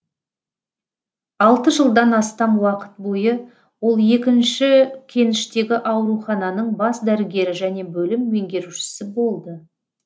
алты жылдан астам уақыт бойы ол екінші кеніштегі аурухананың бас дәрігері және бөлім меңгерушісі болды